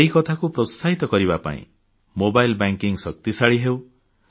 ଏହି କଥାକୁ ପ୍ରୋତ୍ସାହିତ କରିବା ପାଇଁ ମୋବାଇଲ ବ୍ୟାଙ୍କିଙ୍ଗ ଶକ୍ତିଶାଳୀ ହେଉ